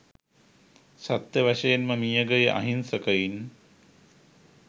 සත්‍ය වශයෙන්ම මියගිය අහින්සකයින්